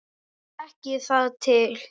Ég þekki þar til.